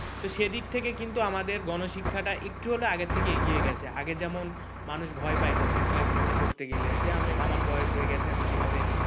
তো সেদিক থেকে কিন্তু আমাদের গণশিক্ষাটা একটু হলেও আগের থেকে এগিয়ে গেছে আগে যেমন মানুষ ভয় পাইতো শিক্ষা গ্রহণ করতে গেলে যে আমি আমার বয়স হয়ে গেছে আমি কিভাবে?